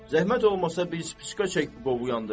Zəhmət olmasa bir çək qovu yandırın.